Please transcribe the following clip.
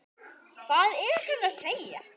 Hvað er hann að segja?